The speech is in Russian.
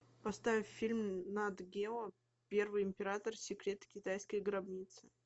поставь фильм нат гео первый император секреты китайской гробницы